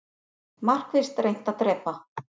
Markvisst reynt að drepa